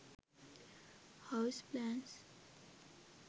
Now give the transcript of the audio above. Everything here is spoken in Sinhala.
house plans